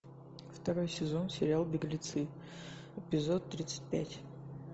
второй сезон сериал беглецы эпизод тридцать пять